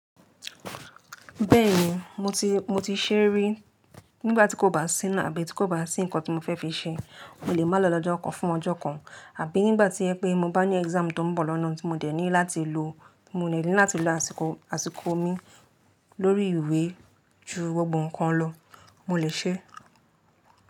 Bẹ́ẹ̀ni, mo ti, mo ti ṣé rí. Nígbà tí kò bá sí náà àbí tí kò bá sí nǹkan tí mo fẹ́ fi ṣe, mo lè máa lọ lọ́jọ́ kan fún ọjọ́ kan, àbí nígbà tí ẹ pé mo bá ní exam tó ń bọ̀ lọ́nà tí mo dẹ̀ ní láti lo, mo ní láti lo àsìkò, àsìkò mi lórí ìwé ju gbogbo nǹkan lọ, mo lè ṣe é.